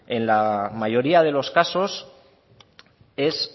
en la mayoría de los casos es